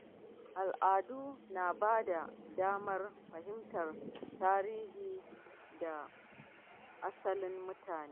Al’adu na ba da damar fahimtar tarihi da asalin mutane.